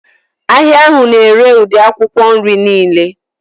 Ahịa ahụ na-ere ụdị akwụkwọ nri niile